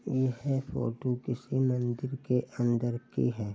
यह फोटो किसी मंदिर के अंदर की है।